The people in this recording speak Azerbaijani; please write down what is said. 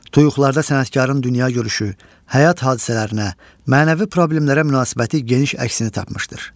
Tuyuğlarda sənətkarın dünyagörüşü, həyat hadisələrinə, mənəvi problemlərə münasibəti geniş əksini tapmışdır.